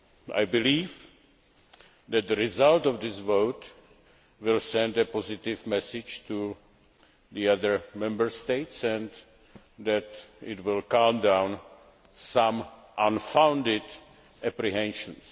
I believe that the result of this vote will send a positive message to the other Member States and that it will calm down some unfounded apprehensions.